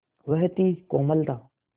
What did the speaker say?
वह थी कोमलता